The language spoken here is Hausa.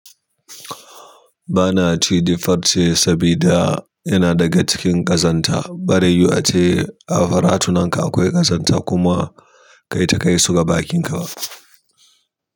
Ba na ci farce ce sabida yana daga cikin ƙazanta. Barime yu a ce a faratunanka akwai ƙazanta kuma kai ta kai su ga bakinka.